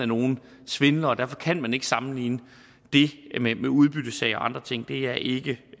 nogle svindlere og derfor kan man ikke sammenligne det med udbyttesagen og andre ting det er ikke